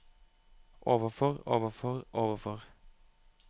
overfor overfor overfor